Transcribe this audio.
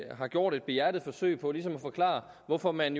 har gjort et behjertet forsøg på ligesom at forklare hvorfor man